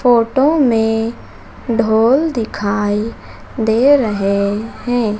Photo में ढोल दिखाई दे रहे है।